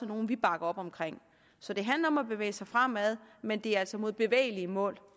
nogle vi bakker op om så det handler om at bevæge sig fremad men det er altså mod bevægelige mål